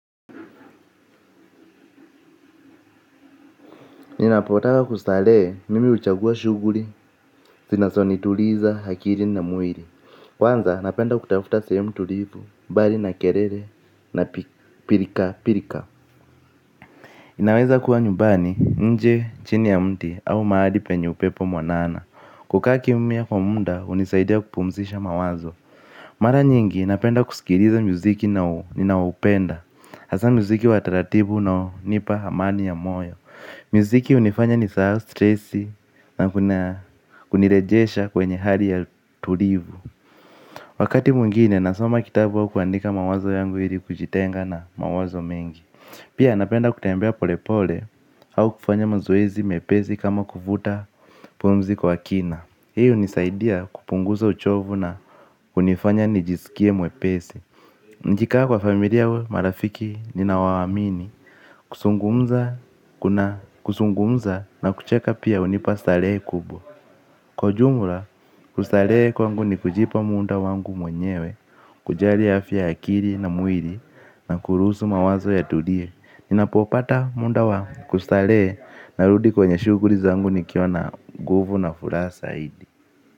Ninapotaka kustarehe mimi huchagua shughuli. Zinazonituliza akili na mwili. Kwanza napenda kutafuta sehemu tulivu mbali na kelele na pilka pilka. Inaweza kuwa nyumbani nje chini ya mti au mahali penye upepo mwanana. Kukaa kimya kwa muda hunisaidia kupumzisha mawazo. Mara nyingi napenda kusikiliza muziki nao ninawaopenda. Hasa muziki wa taratibu unaonipa amani ya moyo. Miziki hunifanya nisahau stresi na kunirejesha kwenye hali ya tulivu. Wakati mwingine nasoma kitabu wa kuandika mawazo yangu ili kujitenga na mawazo mengi. Pia napenda kutembea pole pole au kufanya mazoezi mepesi kama kuvuta pumzi kwa kina. Hii hunisaidia kupunguza uchovu na kunifanya nijisikie mwepesi. Nikikaa kwa familia au marafiki ninaowaamini. Kuzungumza kuna kuzungumza na kucheka pia hunipa starehe kubwa. Kwa ujumla kustarehe kwangu ni kujipa muda wangu mwenyewe. Kujali afya ya akili na mwili na kuruhusu mawazo yatulie. Ninapopata muda wa kustarehe narudi kwenye shughuli zangu nikiwa na nguvu na furaha zaidi.